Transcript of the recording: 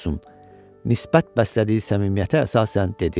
nisbət bəslədiyi səmimiyyətə əsasən dedi.